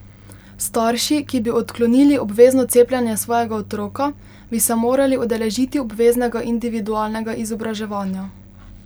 Starši, ki bi odklonili obvezno cepljenje svojega otroka, bi se morali udeležiti obveznega individualnega izobraževanja.